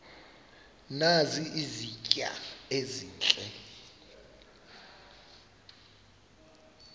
nazi izitya ezihle